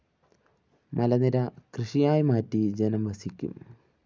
മലനിര കൃഷിയായ് മാറ്റി ജനം വസിക്കും